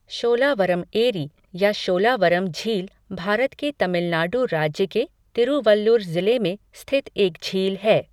शोलावरम एरी या शोलावरम झील भारत के तमिलनाडु राज्य के तिरुवल्लुर ज़िले में स्थित एक झील है।